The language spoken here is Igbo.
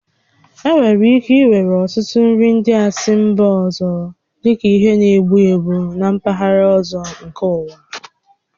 E nwèrè ike iwere ọtụtụ nri ndị si mba ọzọ dịka ihe na-egbu egbu na mpaghara ọzọ nke ụwa